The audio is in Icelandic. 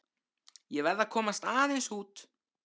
Ég verð að komast aðeins út.